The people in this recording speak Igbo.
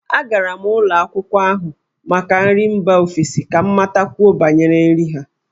Agara m ụlọ akwụkwọ n'ahụ maka nri mba ofesi ka m matakwuo banyere nri ha.